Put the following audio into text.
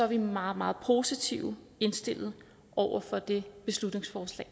vi meget meget positivt indstillet over for det beslutningsforslag